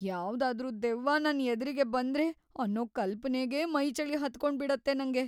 ಯಾವ್ದಾದ್ರೂ ದೆವ್ವ ನನ್‌ ಎದ್ರಿಗೆ ಬಂದ್ರೆ ಅನ್ನೋ ಕಲ್ಪನೆಗೇ ಮೈಚಳಿ ಹತ್ಕೊಂಬಿಡತ್ತೆ ನಂಗೆ.